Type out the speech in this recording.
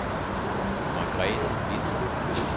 Margrethe Winther